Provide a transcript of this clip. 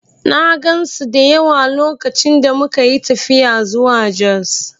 I saw many of them when we traveled to Jos